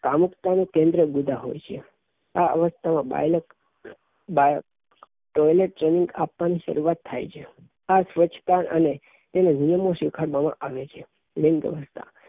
કામુકતા નું કેન્દ્ર આ અવસ્થા માં બાળક ને ટોયલેટ ટ્રેનિંગ શરૂવાત થાય છે આ સ્વચ્છતા અને તેને ગુણો શીખાડવા માં આવે છે લિંગઅવસ્થા